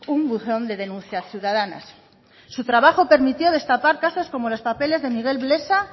un buzón de denuncias ciudadanas su trabajo permitió destapar caso como los papeles de miguel blesa